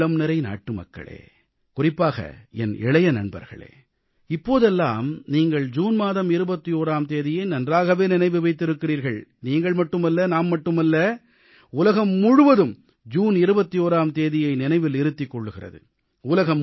என் உள்ளம்நிறைந்த நாட்டுமக்களே குறிப்பாக என் இளைய நண்பர்களே இப்போதெல்லாம் நீங்கள் ஜூன் மாதம் 21ஆம் தேதியை நன்றாகவே நினைவு வைத்திருக்கிறீர்கள் நீங்கள் மட்டுமல்ல நாம் மட்டுமல்ல உலகம் முழுவதும் ஜூன் 21ஆம் தேதியை நினைவில் இருத்திக் கொள்கிறது